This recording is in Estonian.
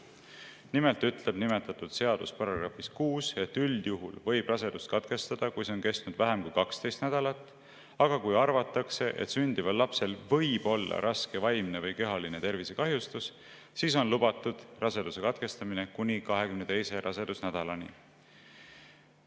Nimelt ütleb nimetatud seadus §‑s 6, et üldjuhul võib rasedust katkestada, kui see on kestnud vähem kui 12 nädalat, aga kui arvatakse, et sündival lapsel võib olla raske vaimne või kehaline tervisekahjustus, siis on lubatud raseduse katkestamine kuni 22. rasedusnädalani.